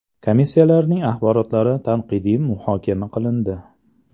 Komissiyalarning axborotlari tanqidiy muhokama qilindi.